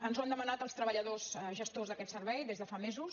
ens ho han demanat els treballadors gestors d’aquest servei des de fa mesos